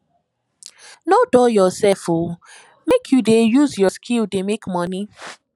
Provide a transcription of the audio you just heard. nor dull yoursef o make you dey use your skill dey make moni